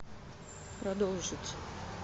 продолжить